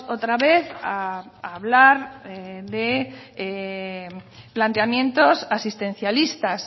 otra vez a hablar de planteamientos asistencialistas